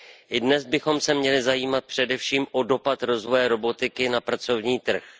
I dnes bychom se měli zajímat především o dopad rozvoje robotiky na pracovní trh.